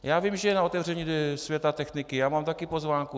Já vím, že je na otevření Světa techniky, já mám také pozvánku.